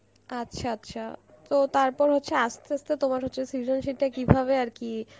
আচ্ছা আচ্ছা, তো তারপর হচ্ছে আসতে আসতে তোমার হচ্ছে সেজনশীল টা কি ভাবে আর কি